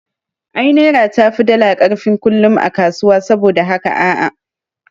Ai naira tafi dala karfin kullum a kasuwa, saboda da haka a'a